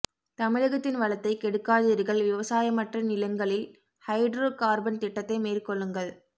தமிழகத்தின் வளத்தை கெடுக்காதீர்கள் விவசாயமற்ற நிலங்களில் ஹைட்ரோ கார்பன் திட்டத்தை மேற்கொள்ளுங்கள்